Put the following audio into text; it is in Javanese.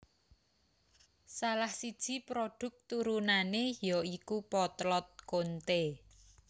Salah siji prodhuk turunane ya iku potlot Konte